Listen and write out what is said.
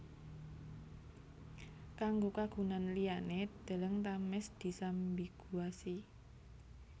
Kanggo kagunan liyané deleng Thames disambiguasi